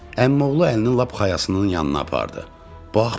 Əmioğlu əlinin lap xayasının yanına apardı, bax burdan.